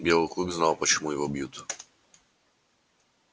белый клык знал почему его бьют